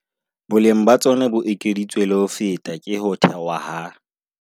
Boleng ba tsona bo ekeditswe le ho feta ke ho thewa ha